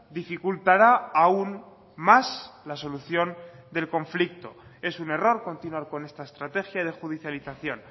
dificultará aún más la solución del conflicto es un error continuar con esta estrategia de judicialización